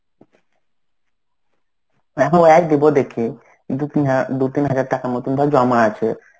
এখন দেব দেখি দু তিন হা~ দু তিন হাজার টাকার মত ধর জমা আছে.